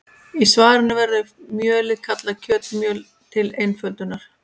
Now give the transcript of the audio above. Í svarinu verður mjölið kallað kjötmjöl til einföldunar.